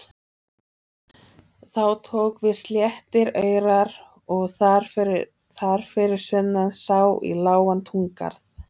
Þá tóku við sléttir aurar og þar fyrir sunnan sá í lágan túngarð.